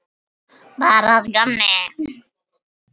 Bara að gamni.